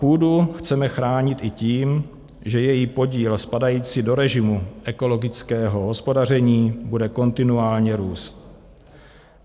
Půdu chceme chránit i tím, že její podíl spadající do režimu ekologického hospodaření bude kontinuálně růst.